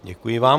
Děkuji vám.